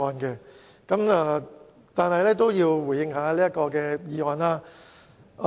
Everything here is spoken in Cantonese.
不過，我也要回應一下這項議案。